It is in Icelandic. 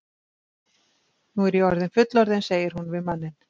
Nú er ég orðin fullorðin, segir hún við manninn.